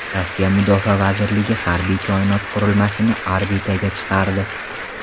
Rossiya mudofaa vazirligi harbiy koinot qurilmasini orbitaga chiqardi.